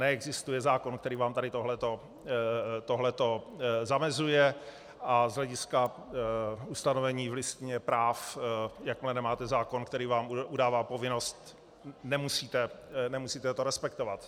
Neexistuje zákon, který vám tady tohle to zamezuje, a z hlediska ustanovení v listině práv jakmile nemáte zákon, který vám udává povinnost, nemusíte to respektovat.